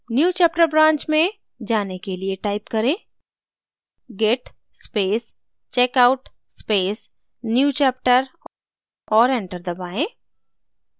newchapter branch में जाने के लिए type करें git space checkout space newchapter और enter दबाएँ